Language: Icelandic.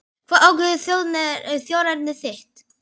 Hvað ákveður þjóðerni þitt?